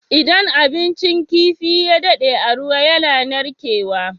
Idan abincin kifi ya dade a ruwa yAna narke wa